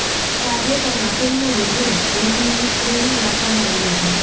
તાજેતરમાં ફિલ્મ રૂબરૂ રોશનીનું સ્ક્રીનિંગ રાખવામાં આવ્યું હતું